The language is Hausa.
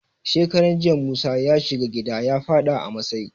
Shekaran jiya, musa ya sha giya ya faɗa a masai.